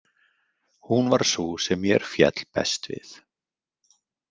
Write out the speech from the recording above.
Hún var sú sem mér féll best við.